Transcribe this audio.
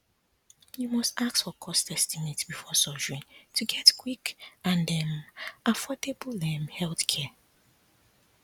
you must ask for cost estimate before surgery to get quick and um affordable um healthcare